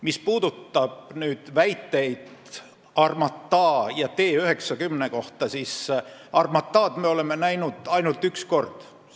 Mis puudutab väiteid Armata ja T-90 kohta, siis Armatad me oleme ainult üks kord näinud.